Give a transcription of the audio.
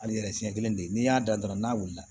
Hali yɛrɛ siɲɛ kelen de n'i y'a da dɔrɔn n'a wulila